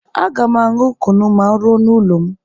Aga m aṅụ kunu ma m ruo n'ụlọ m.